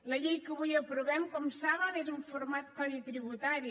la llei que avui aprovem com saben és un format codi tributari